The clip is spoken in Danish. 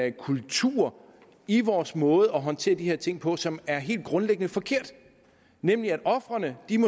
en kultur i vores måde at håndtere de her ting på som er helt grundlæggende forkert nemlig at ofrene